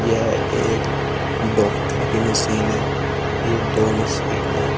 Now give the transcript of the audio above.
यह एक डॉक्टर की मशीन है ये दो मशीन है।